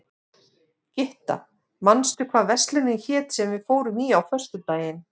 Gytta, manstu hvað verslunin hét sem við fórum í á föstudaginn?